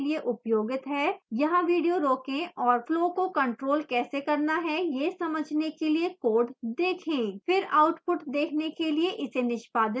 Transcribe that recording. यहाँ video रोकें और flows को control कैसे करना है यह समझने के लिए code देखें फिर आउटपुट देखने के लिए इसे निष्पादित करें